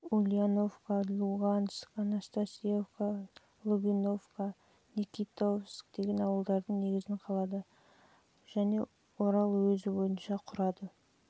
ульяновка луганск анастасьевка новоивановка никитовск деген ауылдардың негізін қалады жуық құраса орал уезі бойынша құрады